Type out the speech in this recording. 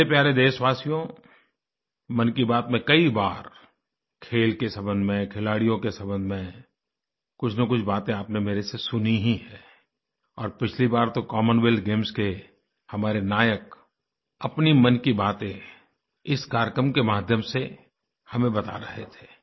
मेरे प्यारे देशवासियो मन की बात में कई बार खेल के संबंध में खिलाडियों के संबंध में कुछनकुछ बातें आपने मेरे से सुनी ही हैं और पिछली बार तो कॉमनवेल्थ गेम्स के हमारे नायक अपनी मन की बातें इस कार्यक्रम के माध्यम से हमें बता रहे थे